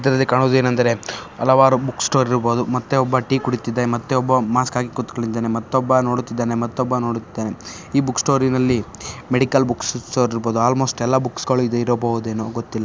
ಇದರಲ್ಲಿ ಕಾಣುವುದೇನೆಂದರೆ ಹಲವಾರು ಬುಕ್ಸ್ ಸ್ಟೋರ್ ಇರ್ಬೋದು ಮತ್ತೆ ಒಬ್ಬ ಟೀ ಕುಡಿತಿದೆ ಮತ್ತೆ ಒಬ್ಬ ಮಾಸ್ಕ್ ಹಾಕಿ ಕುತ್ಕೊಂಡಿದ್ದಾನೆ ಮತೊಬ್ಬ ನೋಡುತ್ತಿದ್ದಾನೆ ಮತೊಬ್ಬ ನೋಡುತ್ತಿದ್ದಾನೆ. ಈ ಬುಕ್ಸ್ ಸ್ಟೋರಿ ನಲ್ಲಿ ಮೆಡಿಕಲ್ ಬುಕ್ಸ್ ಸ್ಟೋರ್ ಇರ್ಬೋದು. ಅಲ್ಮೋಸ್ಟ್ ಎಲ್ಲ ಬುಕ್ಸ್ ಗಳಿರಬಹುದೇನೋ ಗೊತ್ತಿಲ್ಲ.